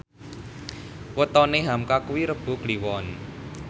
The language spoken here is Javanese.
wetone hamka kuwi Rebo Kliwon